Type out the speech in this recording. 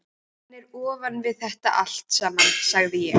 Hann er ofan við þetta allt saman, sagði ég.